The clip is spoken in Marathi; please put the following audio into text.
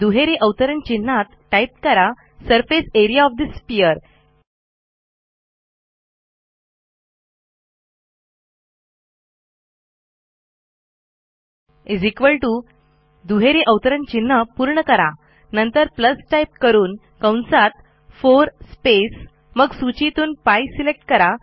दुहेरी अवतारण चिन्हत टाईप करा surface A R E A O F the sphere दुहेरी अवतारण चिन्ह पूर्ण करा नंतर टाईप करून 4 स्पेस मग सूचीतून π सिलेक्ट करा